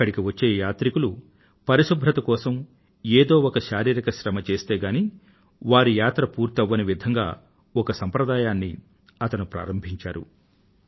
అక్కడికి వచ్చే యాత్రికులు పరిశుభ్రత కోసం ఎదో ఒక శారీరిక శ్రమ చస్తే గానీ వారి యాత్ర పూర్తవ్వని విధంగా ఒక సాంప్రదాయాన్ని అతను ప్రారంభించాడు